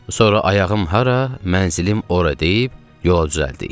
Sonra ayağım hara, mənzilim ora deyib yola düzəldik.